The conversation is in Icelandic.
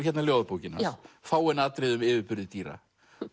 ljóðabókin hans fáein atriði um yfirburði dýra